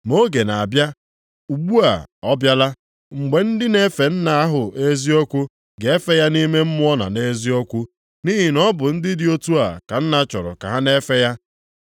Ma oge na-abịa, ugbu a ọ bịala, mgbe ndị na-efe Nna ahụ nʼeziokwu ga-efe ya nʼime mmụọ na nʼeziokwu. Nʼihi na ọ bụ ndị dị otu a ka Nna chọrọ ka ha na-efe ya.